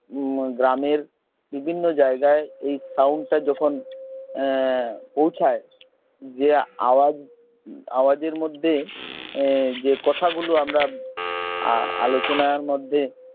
মম গ্রামের বিভিন্ন জায়গায় এই sound টা যখন পৌঁছায় যে আওয়াজ আওয়াজ এর মধ্যে যে কথাগুলো আমরা আলোচনার মধ্যে